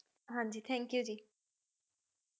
ਹਾਜੀ ਥਾਨਕ ਯੋਊ ਜੀ